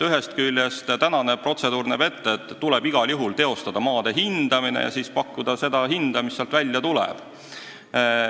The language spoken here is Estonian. Ühest küljest näeb praegune protseduur ette, et tuleb igal juhul teostada maade hindamine ja siis pakkuda seda hinda, mis sealt välja tuleb.